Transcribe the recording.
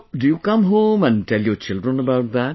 So, do you come home and tell your children about that